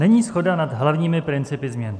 Není shoda nad hlavními principy změn.